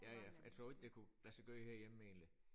Ja ja jeg tror ikke det kunne lade sig gøre herhjemme egentlig